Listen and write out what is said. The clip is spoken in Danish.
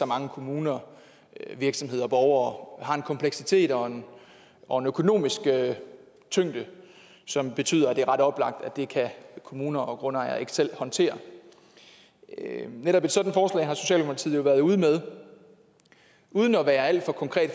mange kommuner virksomheder og borgere og det har en kompleksitet og og en økonomisk tyngde som betyder at det er ret oplagt at det kan kommuner og grundejere ikke selv håndtere netop et sådant forslag har socialdemokratiet jo været ude med uden at være alt for konkret